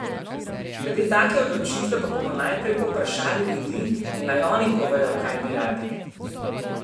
Glede take odločitve pa bomo najprej povprašali ljudi in naj oni povejo, kaj bi radi.